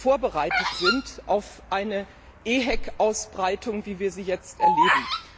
vorbereitet sind auf eine EHEC Ausbreitung, wie wir sie jetzt erleben.